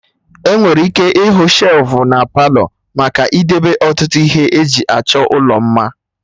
Enwere ike ịhụ shelfụ na Palọ maka idebe ọtụtụ ihe eji achọ ụlọ mma